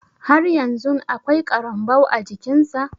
Har yanzun akwai ƙarambau a jiƙin sa.